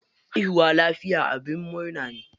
Haihuwa lafiya abin murna ne.